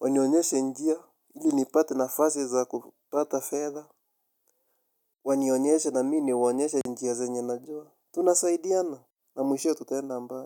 Wanionyeshe njia, ili nipate nafasi za kupata fedha. Wanionyeshe na mi ni waonyeshe njia zenye najua. Tunasaidiana na mwishowe tutaenda mbali.